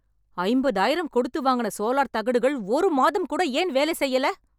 ஐம்பதாயிரம் கொடுத்து வாங்குன சோலார் தகடுகள் ஒரு மாதம் கூட ஏன் வேல செய்யல